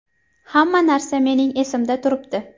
Hamma narsa mening esimda turibdi.